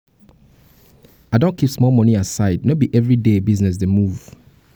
i don dey keep small moni aside no be everyday business dey move. um